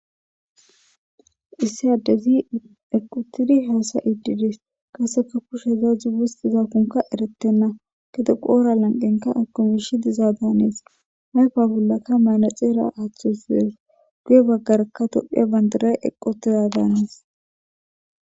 issi addezi eqotidi haasa iidides kaseka kushe za zuustiza kunka eretenna kede qoora lanqenka akomishi diza daanees hayfa bullakka maynaxeera aaththusees guye baggarakka tophiya banduray eqqotiza daanees